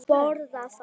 Hvað boðar það?